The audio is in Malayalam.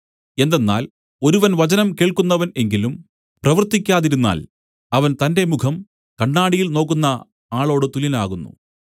എന്തെന്നാൽ ഒരുവൻ വചനം കേൾക്കുന്നവൻ എങ്കിലും പ്രവർത്തിക്കാതിരുന്നാൽ അവൻ തന്റെ മുഖം കണ്ണാടിയിൽ നോക്കുന്ന ആളോട് തുല്യനാകുന്നു